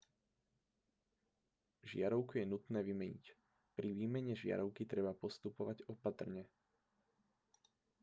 žiarovku je nutné vymeniť pri výmene žiarovky treba postupovať opatrne